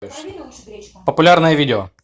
популярное видео